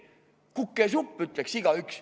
"Kukesupp!" ütleks igaüks.